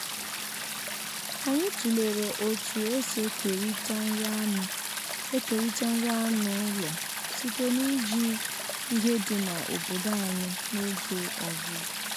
anyị tụlere otu esi ekerịta nri anụ ekerịta nri anụ ụlọ site n'iji ihe dị na obodo anyị n’oge ọzụzụ